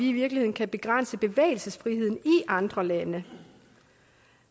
i virkeligheden kan begrænse bevægelsesfriheden i andre lande det